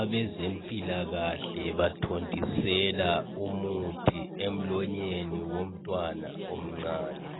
Abezempilakahle bathontisela umuthi emlonyeni womntwana omncane